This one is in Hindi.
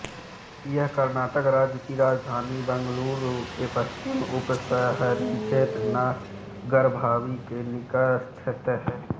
यह कर्नाटक राज्य की राजधानी बंगलुरु के पश्चिमी उपशहरी क्षेत्र नागरभावी के निकटस्थ है